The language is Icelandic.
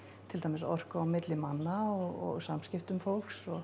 til dæmis orku á milli manna og samskipti fólks og